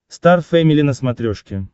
стар фэмили на смотрешке